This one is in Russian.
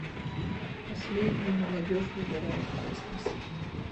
последний молодежьвыбираеткосмос